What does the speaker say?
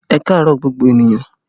Ẹ kaaro gbogbo ènìyàn